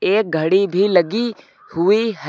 एक घड़ी भी लगी हुई है।